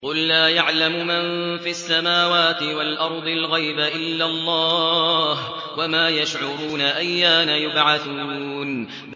قُل لَّا يَعْلَمُ مَن فِي السَّمَاوَاتِ وَالْأَرْضِ الْغَيْبَ إِلَّا اللَّهُ ۚ وَمَا يَشْعُرُونَ أَيَّانَ يُبْعَثُونَ